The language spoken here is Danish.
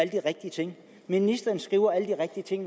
de rigtige ting at ministeren skriver alle de rigtige ting